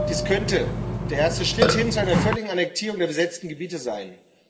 Dies könnte der erste Schritt hin zu einer völligen Annektierung der besetzten Gebiete sein.